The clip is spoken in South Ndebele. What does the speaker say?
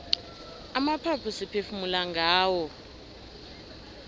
amaphaphu siphefumula ngawo